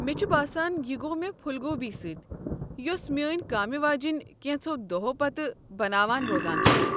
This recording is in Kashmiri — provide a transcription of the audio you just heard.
مےٚ چھ باسان یہ گوٚو مےٚ پھوُل گوبی سۭتۍ یُس میٛٲنۍ کامہِ واجیٚنۍ كینژو دوہو پتہٕ بناوان روزان چھِ۔